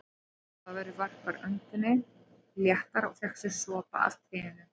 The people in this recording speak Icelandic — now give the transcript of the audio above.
Jón Ólafur varp öndinni léttar og fékk sér sopa af teinu.